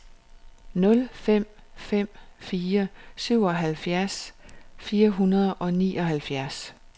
nul fem fem fire syvoghalvfems fire hundrede og nioghalvfjerds